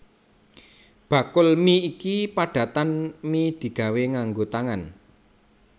Bakul mi iki padatan mi digawé nganggo tangan